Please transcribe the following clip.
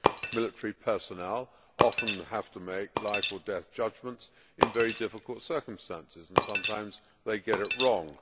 Military personnel often have to make life or death judgments in very difficult circumstances and sometimes they get it wrong.